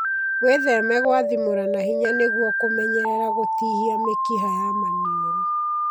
Wĩtheme gwathimũra na hinya nĩguo kũmenyerera gũtihia mĩkiha ya maniũru.